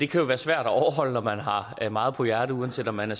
kan være svær at overholde når man har meget på hjerte uanset om man er